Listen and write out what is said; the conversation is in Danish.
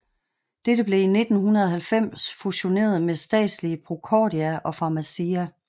Dette blev i 1990 fusioneret med statslige Procordia og Pharmacia